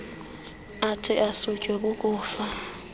athi asutywe kukufa